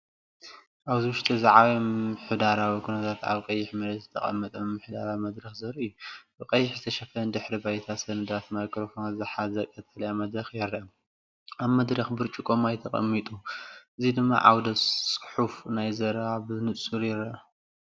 እዚ ኣብ ውሽጢ ዝዓበየ ምምሕዳራዊ ኵነታት ኣብ ቀይሕ መሬት ዝተቐመጠ ምምሕዳራዊ መድረኽ ዘርኢ እዩ። ብቐይሕ ዝተሸፈነ ድሕረ ባይታ ሰነዳትን ማይክሮፎናትን ዝሓዘ ቀጠልያ መድረኽ ይርአ። ኣብ መድረኽ ብርጭቆ ማይ ተቐሚጡ፡ እዚ ድማ ዓውደ-ጽሑፍ ናይቲ ዘረባ ብንጹር ይርአ።